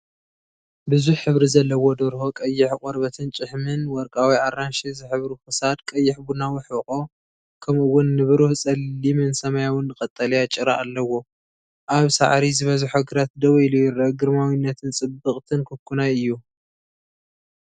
ብዙሕ ሕብሪ ዘለዎ ደርሆ ፣ቀይሕ ቆርበትን ጭሕምን፡ ወርቃዊ ኣራንሺ ዝሕብሩ ክሳድ፡ ቀይሕ ቡናዊ ሕቖ፡ ከምኡ’ውን ንብሩህ ጸሊምን ሰማያውን ቀጠልያ ጭራ ኣለዎ። ኣብ ሳዕሪ ዝበዝሖ ግራት ደው ኢሉ ይርአ። ግርማዊትን ጽብቕትን ኳኩናይ እዩ፡፡